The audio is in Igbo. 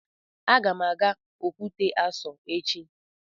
Aga m aga Okwute Aso echi